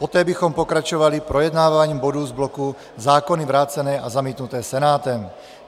Poté bychom pokračovali projednáváním bodů z bloku zákony vrácené a zamítnutém Senátem.